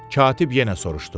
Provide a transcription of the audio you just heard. Katib yenə soruşdu.